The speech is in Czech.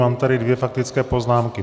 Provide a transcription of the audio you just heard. Mám tady dvě faktické poznámky.